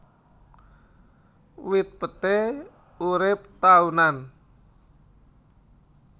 Wit peté urip taunan